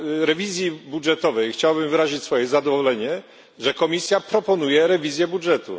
rewizji budżetowej chciałbym wyrazić swoje zadowolenie, że Komisja proponuje rewizję budżetu.